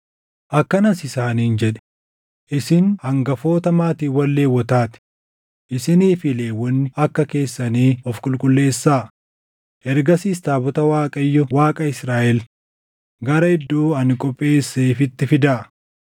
akkanas isaaniin jedhe; “Isin hangafoota maatiiwwan Lewwotaa ti; isinii fi Lewwonni akka keessanii of qulqulleessaa; ergasiis taabota Waaqayyo Waaqa Israaʼel gara iddoo ani qopheesseefitti fidaa.